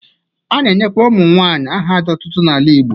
A na-enyekwa ụmụnwaanyị aha otutu n'ala Igbo.